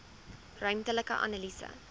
ruimtelike analise